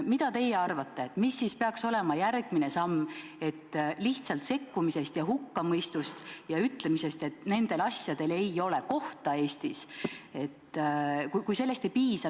Mida teie arvate: mis peaks olema järgmine samm, kui lihtsalt sekkumisest ja hukkamõistust ja ütlemisest, et nendel asjadel ei ole Eestis kohta, ei piisa?